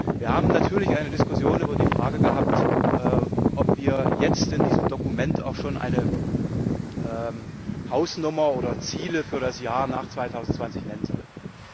Wir haben natürlich eine Diskussion über die Frage gehabt, ob wir jetzt in diesem Dokument auch schon eine Hausnummer oder Ziele für das Jahr nach 2020 nennen sollen.